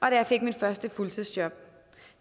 jeg fik mit første fuldtidsjob